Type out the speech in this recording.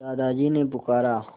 दादाजी ने पुकारा